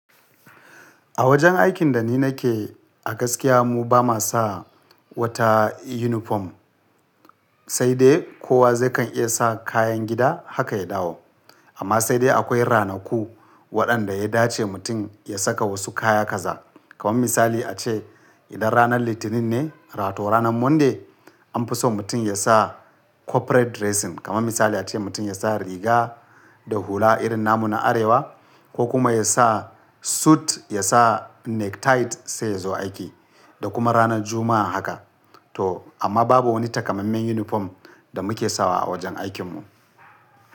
A wajen aikin da ni nake a gaskiya mu ba ma sa wata yunifom sai dai kowa zai kan iya sa kayan gida haka ya dawo. Amma sai dai akwai ranaku waɗanda ya dace mutum ya saka wasu kaya kaza. Kaman misali ace idan ranar Litinin ne, wato ranar Monday an fi so mutum ya sa corporate dressing. Kaman misali ace mutum ya sa riga da hula irin namu na Arewa ko kuma ya sa suit ya sa necktie sai ya zo aiki da kuma ranar Juma'a haka. To amma babu wani takamammen yunifom da muke sawa a wajen aikin mu.